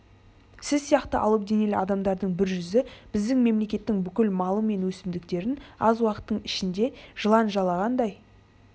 сіз сияқты алып денелі адамдардың бір жүзі біздің мемлекеттің бүкіл малы мен өсімдіктерін аз уақыттың ішінде жылан жалағандай